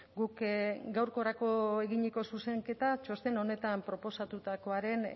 guk gaurkorako eginiko zuzenketa txosten honetan proposatutakoaren